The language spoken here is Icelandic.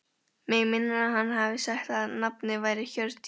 Mig minnir að hann hafi sagt að nafnið væri Hjördís.